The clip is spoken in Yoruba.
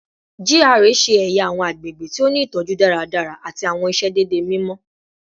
GRA ṣe ẹya awọn agbegbe ti o ni itọju daradara ati awọn iṣedede mimọ